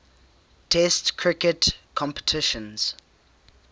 test cricket competitions